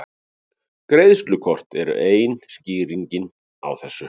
Greiðslukort eru ein skýringin á þessu.